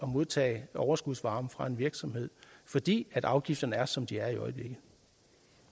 modtage overskudsvarme fra en virksomhed fordi afgifterne er som de er